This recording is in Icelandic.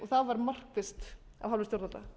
það var markvisst af hálfu stjórnanda